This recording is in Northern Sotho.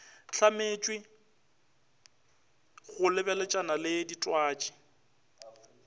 hlametšwe go lebeletšana le ditwatši